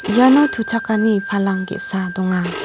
iano tuchakani palang ge·sa donga.